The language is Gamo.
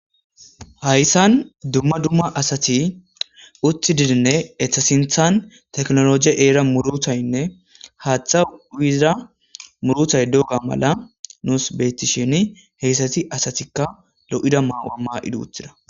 Hayissan dumma dumma asatinne eta sinththan technology ehida eqay woyikko murutay haaththa uyiza muritay dizayissa besses